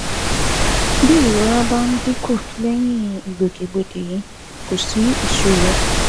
Bí ìrora bá dínkù lẹ́yìn ìgbòkègbodò yìí, kò sí ìṣòro